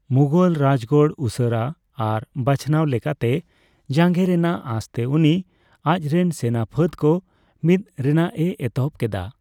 ᱢᱩᱜᱷᱚᱞ ᱨᱟᱡᱜᱟᱲ ᱩᱥᱟᱹᱨᱟ ᱟᱨ ᱵᱟᱪᱷᱱᱟᱣ ᱞᱮᱠᱟᱛᱮ ᱡᱟᱸᱜᱮ ᱨᱮᱱᱟᱜ ᱟᱥ ᱛᱮ ᱩᱱᱤ ᱟᱡ ᱨᱮᱱ ᱥᱮᱱᱟ ᱯᱷᱟᱹᱫ ᱠᱚ ᱢᱤᱫ ᱨᱮᱱᱟᱜ ᱮ ᱮᱛᱚᱦᱵᱚ ᱠᱮᱫᱟ ᱾